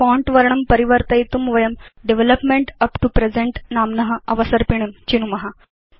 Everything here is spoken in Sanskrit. फोंट वर्णं परिवर्तयितुं वयं डेवलपमेंट उप् तो प्रेजेन्ट नाम्न अवसर्पिणीं चिनुम